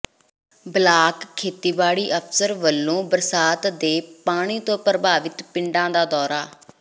block ਖੇਤੀਬਾੜੀ ਅਫਸਰ ਵਲੋਂ ਬਰਸਾਤ ਦੇ ਪਾਣੀ ਤੋਂ ਪ੍ਰਭਾਵਿਤ ਪਿੰਡਾਂ ਦਾ ਦੌਰਾ